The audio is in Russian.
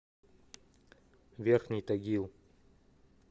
верхний тагил